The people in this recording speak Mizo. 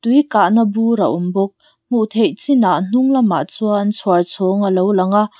tui kahna bur a awm bawk hmuh theih chinah hnung lamah chuan chhuar chhawng a lo lang a.